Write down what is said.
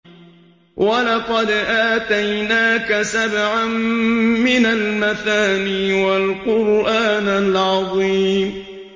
وَلَقَدْ آتَيْنَاكَ سَبْعًا مِّنَ الْمَثَانِي وَالْقُرْآنَ الْعَظِيمَ